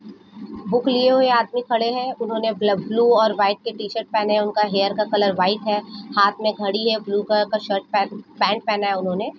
book लिए आदमी खड़े है उन्होंने ब्लू और वाईट टीशर्ट पहने उनका हेर का कलर वाईट है हाथ में धड़ी है ब्लू कलर शर्ट का पह पेन्ट पहना हुआ है उन्होंने --